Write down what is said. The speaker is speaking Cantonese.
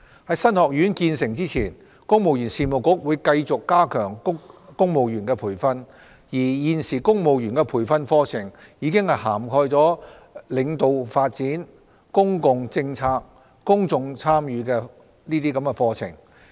在新學院建成前，公務員事務局會繼續加強公務員的培訓，而現時公務員的培訓課程已涵蓋領導發展、公共政策、公眾參與等課程。